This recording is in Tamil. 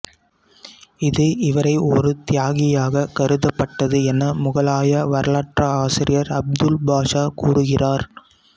இது இவரை ஒரு தியாகியாக கருதப்பட்டது என முகலாய வரலாற்றாசிரியர் அபுல் பாஸா கூறுகிரார்